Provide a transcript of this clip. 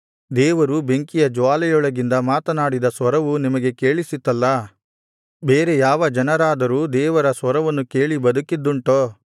ದೇವರು ಬೆಂಕಿಯ ಜ್ವಾಲೆಯೊಳಗಿಂದ ಮಾತನಾಡಿದ ಸ್ವರವು ನಿಮಗೆ ಕೇಳಿಸಿತಲ್ಲಾ ಬೇರೆ ಯಾವ ಜನರಾದರೂ ದೇವರ ಸ್ವರವನ್ನು ಕೇಳಿ ಬದುಕಿದ್ದುಂಟೋ